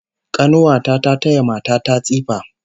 Kanuwa ta ta taya mata ta tsifa